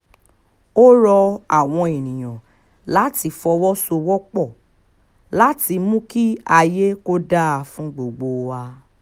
ó rọ àwọn èèyàn láti fọwọ́sowọ́pọ̀ láti mú kí ayé kò dáa fún gbogbo wa